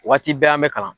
Waati bɛɛ an bɛ kalan